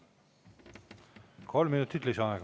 Kolm minutit lisaaega.